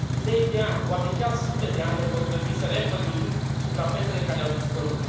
Zeci de ani, poate chiar sute de ani ne vor trebui să reîmpădurim suprafețele care au dispărut.